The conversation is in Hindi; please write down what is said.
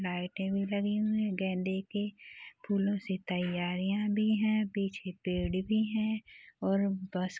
लाइटे भी लगी हुई है गेंदे की फूलो से तैयारियाँ भी है पीछे पेड़ भी है और बस --